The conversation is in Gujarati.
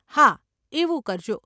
હા, એવું કરજો.